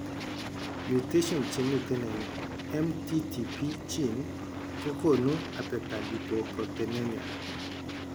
Mutations chemiten en MTTP gene kogonu abetalipoproteinemia